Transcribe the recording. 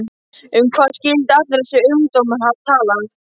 Um hvað skyldi allur þessi ungdómur hafa talað?